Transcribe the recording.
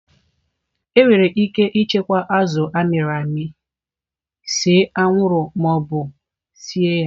Enwere ike ichekwa azụ a mịrị amị, see anwụrụ ma ọ bụ sie ya